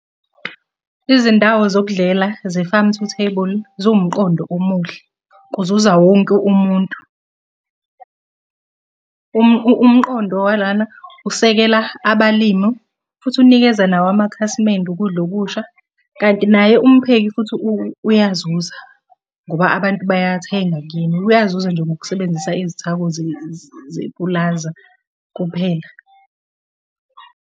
Izindawo zokudlela ze-farm-to-table ziwumqondo omuhle, kuzuza wonke umuntu. Umqondo walana usekela abalimu futhi unikeza nawo amakhasimende ukudla okusha, kanti naye umpheki futhi uyazuza, ngoba abantu bayathenga kuyena uyazuza nje ngokusebenzisa izithako zepulaza kuphela.